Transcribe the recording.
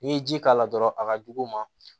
N'i ye ji k'a la dɔrɔn a ka jugu u ma